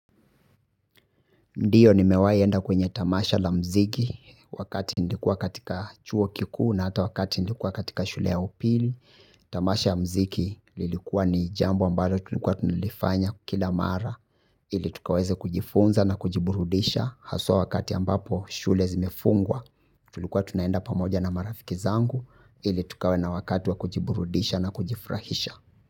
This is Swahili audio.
Ndiyo ni mewaienda kwenye tamasha la mziki wakati nlikuwa katika chuo kikuu na hata wakati nlikuwa katika shule ya upili. Tamasha ya mziki lilikuwa ni jambo ambalo tulikuwa tunilifanya kila mara ili tukawaze kujifunza na kujiburudisha. Haswa wakati ambapo shule zimefungwa tulikuwa tunaenda pamoja na marafiki zangu ili tukawaze na wakati wa kujiburudisha na kujifrahisha.